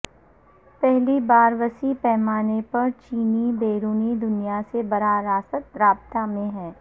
پہلی بار وسیع پیمانے پر چینی بیرونی دنیا سے براہ راست رابطہ میں ہیں